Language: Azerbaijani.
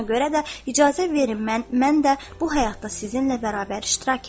Buna görə də icazə verin mən də bu həyatda sizinlə bərabər iştirak edim.